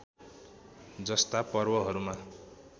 जस्ता पर्वहरूमा